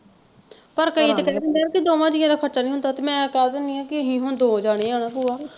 ਪਰ ਕਈ ਤੇ ਕਹਿ ਦਿੰਦੇ ਕਿ ਦੋਹਵਾਂ ਜੀਆਂ ਦਾ ਖਰਚਾ ਨਹੀਂ ਹੁੰਦਾ ਤੇ ਮੈਂ ਕਹਿ ਦਿੰਦੀ ਆ ਕਿ ਅਸੀਂ ਹੁਣ ਦੋ ਜਾਣੇ ਆ ਨਾ ਭੂਆ,